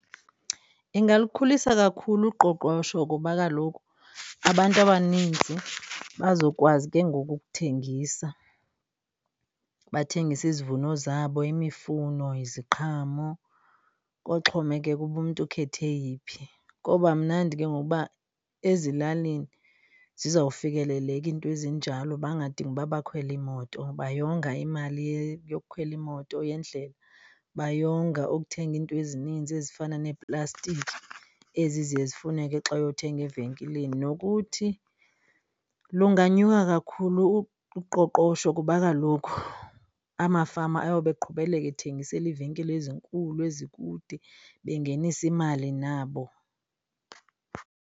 Ingalukhulisa kakhulu uqoqosho ngoba kaloku abantu abaninzi bazokwazi ke ngoku ukuthengisa bathengise izivuno zabo, imifuno, iziqhamo. Koxhomekeka uba umntu ukhetha eyiphi, koba mnandi ke ngoku uba ezilalini zizawufikeleleka iinto ezinjalo, bangadingi ukuba bakhwele iimoto. Bayonga imali yokukhwela imoto yendlela bayonga ukuthenga iinto ezininzi ezifana neplastiki ezi ziye zifuneke xa uyothenga evenkileni. Nokuthi lunganyuka kakhulu uqoqosho kuba kaloku amafama ayoba eqhubeleka ethengisela iivenkile ezinkulu ezikude, bengenisa imali nabo.